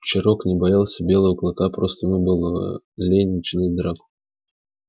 черок не боялся белого клыка просто ему было лень начинать драку